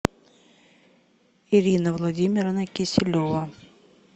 ирина владимировна киселева